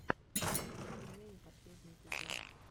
уральские пельмени последний эпизод